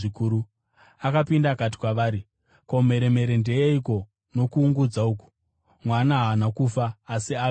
Akapinda akati kwavari, “Ko, mheremhere ndeyeiko nokuungudza uku? Mwana haana kufa asi avete.”